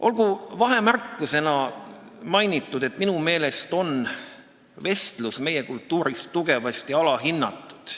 Olgu vahemärkusena mainitud, et minu meelest on vestlus meie kultuuris tugevasti alahinnatud.